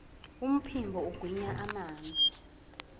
umphimbo ugwinya amanzi